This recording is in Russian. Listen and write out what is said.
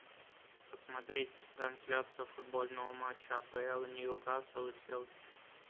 посмотреть трансляцию футбольного матча апл ньюкасл и челси